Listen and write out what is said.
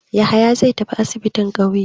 Yahaya zai tafi asibin ƙauye.